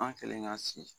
An kɛlen ka si